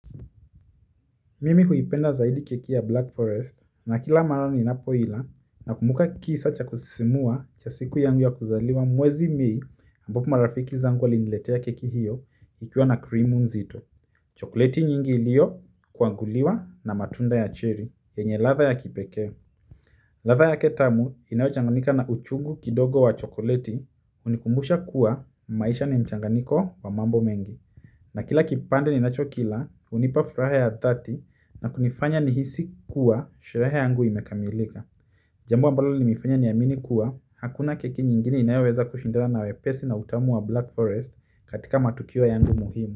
Mimi huipenda zaidi keki ya Black Forest na kila mara ninapoila nakumbuka kisa cha kusisimua cha siku yangu ya kuzaliwa mwezi may ambopo marafiki zangu waliniletea keki hiyo ikiwa na krimu nzito. Chokleti nyingi iliyo kuanguliwa na matunda ya cherry yenye ladha ya kipekee. Ladha yake tamu inayochanganika na uchungu kidogo wa chokoleti hunikumbusha kuwa maisha ni mchanganiko wa mambo mengi. Na kila kipande ninacho kila, hunipa furaha ya thati na kunifanya nihisi kuwa sherehe yangu imekamilika. Jambo ambalo lilinifanya niamini kuwa hakuna keki nyingini inayoweza kushindana na wepesi na utamu wa Black Forest katika matukio yangu muhimu.